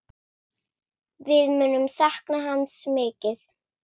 Við munum sakna hans mikið.